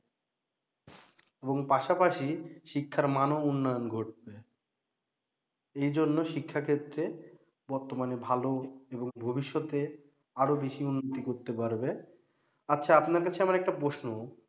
এবং পাশাপাশি শিক্ষার মানও উন্নয়ন ঘটবে এজন্য শিক্ষা ক্ষেত্রে বর্তমানে ভালো এবং ভবিষ্যতে আরো বেশি উন্নতি করতে পারবে আচ্ছা আপনার কাছে আমার একটা প্রশ্ন